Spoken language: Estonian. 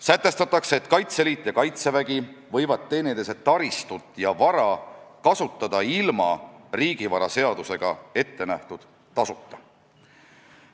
Sätestatakse, et Kaitseliit ja Kaitsevägi võivad teineteise taristut ja vara kasutada ilma riigivara seadusega ettenähtud tasuta.